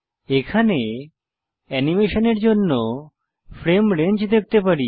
এখানে অ্যানিমেশনের জন্য ফ্রেম রেঞ্জ দেখতে পারি